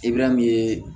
Ibɛrɛ min ye